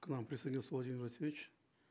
к нам присоединился владимир васильевич